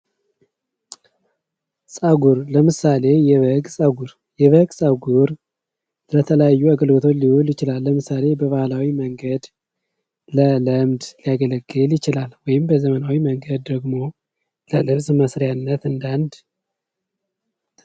ጸጉር ለምሳሌ የበግ ጸጉር የበግ ጸጉር ለተለያዩ አገልግሎቶች ሊውል ይችላል ለምሳሌ በባህላዊ መንገድ ለለምድ ሊያገለግል ይችላል ወይም በዘመናዊ መንገድ ደግሞ ለልብስ መስሪያነት እንደ አንድ።